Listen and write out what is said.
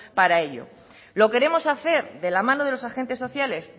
para ello lo queremos hacer de la mano de los agentes sociales